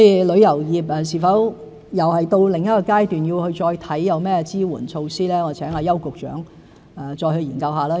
旅遊業是否又到另一階段，要再檢視有甚麼支援措施，我請邱局長再作研究。